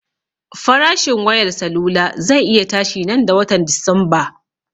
Farashin wayar salula ze iya tashi nan da watan dismba